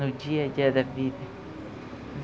No dia a dia da vida.